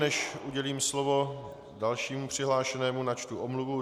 Než udělím slovo dalšímu přihlášenému, načtu omluvu.